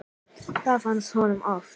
Það fannst honum töff.